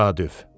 Təsadüf.